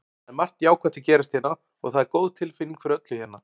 Það er margt jákvætt að gerast hérna og það er góð tilfinning fyrir öllu hérna.